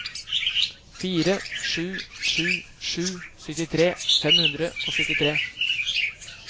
fire sju sju sju syttitre fem hundre og syttitre